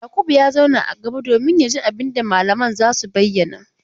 Yakubu ya zauna a gaba domin ya ji abin da mallaman za su bayyana.